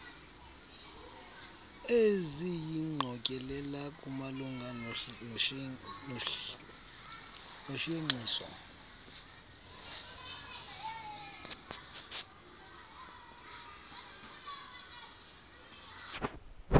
eziyingqokelela kumalunga noshenxiso